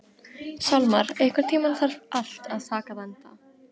Salmar, einhvern tímann þarf allt að taka enda.